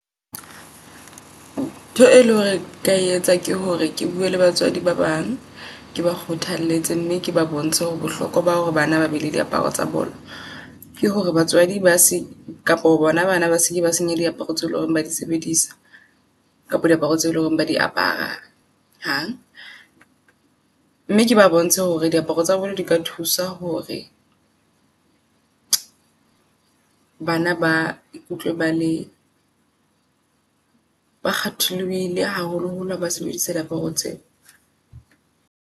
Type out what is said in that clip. Ntho e leng hore ka etsa ke hore ke bue le batswadi ba bang, ke ba kgothalletse mme ke ba bontshe hore bohlokoa ba hore bana ba be le di aparo tsa bolo. Ke hore batswadi ba se Ykapa ho bona bana ba seke ba senye diaparo tse loreng ba di sebedisa kapa diaparo tse leng hore ba di apara hang. Mme ke ba bontshe hore diaparo tsa jwalo di ka thusa hore bana ba ikutlwe ba le ba kgatholohile haholo holo haba sebedisa diaparo tseo.